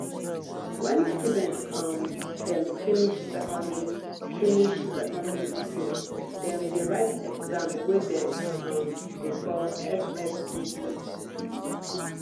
wen student um dem finish secondary finish secondary skool dem dey write exam wey dem um dey call ssce